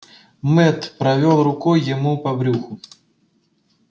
мэтт провёл рукой ему по брюху